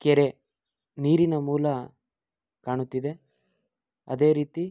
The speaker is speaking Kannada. ಕೆರೆ ನೀರಿನ ಮೂಲ ಕಾಣುತ್ತಿದೆ ಅದೆ ರೀತಿ